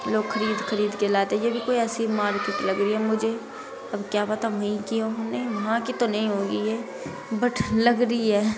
लोग खरीद खरीद के लाते ये भी कोई ऐसी मार्केट लग रही है मुझे अब क्या पता वही की हो हमने वहाँ की तो नहीं होगी ये बट लग री है।